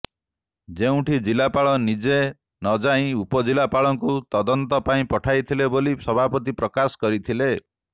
ଯେଉଁଠି ଜିଲ୍ଲାପାଳ ନିଜେ ନ ଯାଇ ଉପଜିଲ୍ଲାପାଳକୁ ତଦନ୍ତ ପାଇଁ ପଠାଇଥିଲେ ବୋଲି ସଭାପତି ପ୍ରକାଶ କରିଥିଲେ